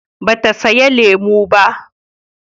Ba ta saya lemun ba